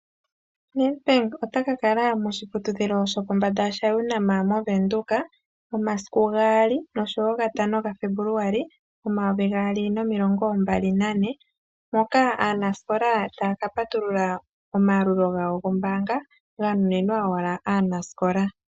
Nedbank otaka kala moshiputudhilo shopo mbanda sha UNAM moVenduka monasiku 2 noshowo 5 ga Febuluali 2024 moka aanasikola taya ka patulula omayalulo gawo gombaanga ga nuninwa wala aanasikola.